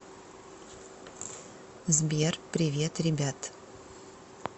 сбер привет ребят